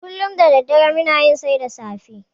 Kullum da daddare muna yin sai da safe.